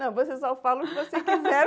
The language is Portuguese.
Não, você só fala o que você quiser.